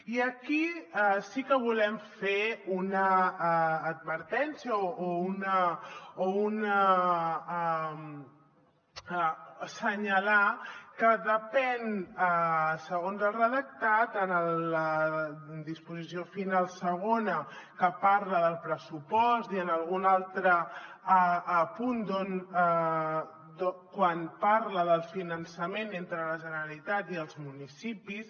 i aquí sí que volem fer una advertència o assenyalar que depèn segons el redactat en la disposició final segona que parla del pressupost i en algun altre punt quan parla del finançament entre la generalitat i els municipis